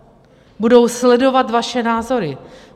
Budou sledovat vaše názory.